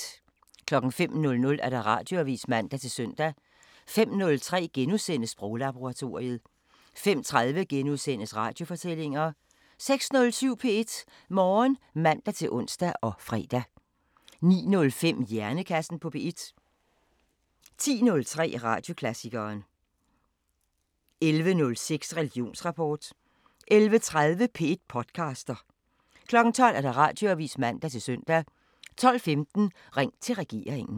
05:00: Radioavisen (man-søn) 05:03: Sproglaboratoriet * 05:30: Radiofortællinger * 06:07: P1 Morgen (man-ons og fre) 09:05: Hjernekassen på P1 10:03: Radioklassikeren 11:06: Religionsrapport 11:30: P1 podcaster 12:00: Radioavisen (man-søn) 12:15: Ring til regeringen